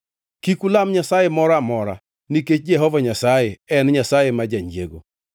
Kik ulam nyasaye moro amora nikech Jehova Nyasaye en Nyasaye ma janyiego.